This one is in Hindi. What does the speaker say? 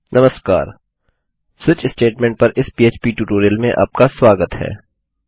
नमस्कार स्विच स्टेटमेंट स्टेट्मेन्ट पर इस पीएचपी ट्यूटोरियल में आपका स्वागत है